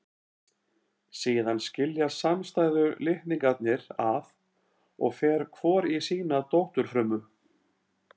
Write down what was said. Síðan skiljast samstæðu litningarnir að og fer hvor í sína dótturfrumu.